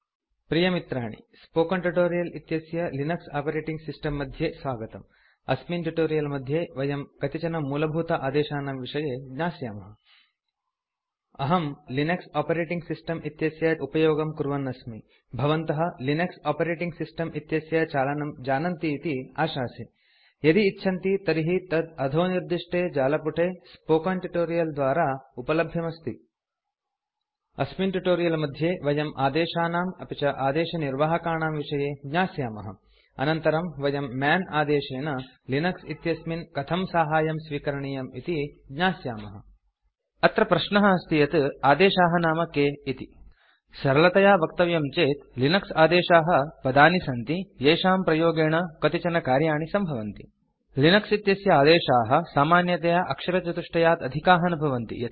प्रिय मित्राणिspoken ट्यूटोरियल् इत्यस्य लिनक्स आपरेटिंग सिस्टम् मध्ये स्वागतम् अस्मिन् ट्यूटोरियल् मध्ये वयं कतिचनमूलभूत आदेशानां विषये ज्ञास्यामः अहं लिनक्स ओपेटेटिंग सिस्टम् इत्यस्य उपयोगं कुर्वन् अस्मि भवन्तः लिनक्स ओपेटेटिंग सिस्टम् इत्यस्य चालनं जानन्ति इति आशासे यदि इच्छन्ति तर्हि तत् httpspoken tutorialorg इत्याख्ये जालपुटे स्पोकेन ट्यूटोरियल् द्वारा उपल्भ्यमस्ति अस्मिन् ट्यूटोरियल् मध्ये वयम् आदेशानाम् अपि च आदेशनिर्वाहकाणां विषये ज्ञास्यामः अनन्तरं वयं मन् आदेशेन लिनक्स इत्यस्मिन् कथं साहाय्यं स्वीकरणीयम् इति ज्ञास्यामः अत्र प्रश्नः अस्ति यत् आदेशाः नाम के इति सरलतया वक्तव्यं चेत् लिनक्स आदेशाः पदानि सन्ति येषाम् प्रयोगेण कतिचन कार्याणि सम्भवन्ति लिनक्स इत्यस्य आदेशाः सामान्यतया अक्षरचतुष्टयात् अधिकाः न भवन्ति